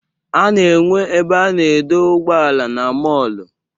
A na-enwe ebe a na-edo ụgbọala na mọọlụ.